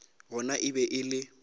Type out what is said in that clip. gona e be e le